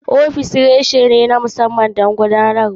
Ofis kuma reshe ne na musamman don gudanarwa.